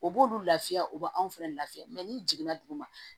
O b'olu lafiya o b'anw fɛnɛ lafiya n'i jiginna duguma